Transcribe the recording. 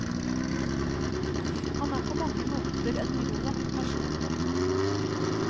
Han er på mange måter en rå person.